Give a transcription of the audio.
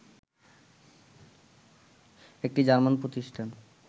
একটি জার্মান প্রতিষ্ঠান